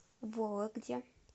вологде